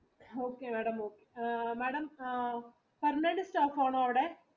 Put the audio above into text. Okay madam, permanent staff ആണോ അവിടെ?